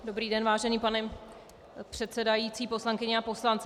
Dobrý den, vážený pane předsedající, poslankyně a poslanci.